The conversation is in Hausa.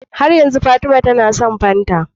Har yanzu fatima tAna son fanta